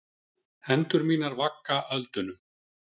Hendur mínar vagga á öldunum.